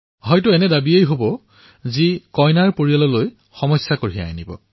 হয়তো এনেকৱা বস্তু খুজিব যে কন্যাৰ পিতৃমাতৃৰ পক্ষে সেয়া অসম্ভৱ হৈ পৰে